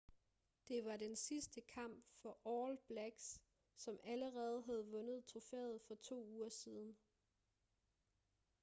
det var den sidste kamp for all blacks som allerede havde vundet trofæet for to uger siden